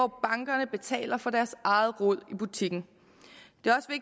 bankerne betaler for deres eget rod i butikken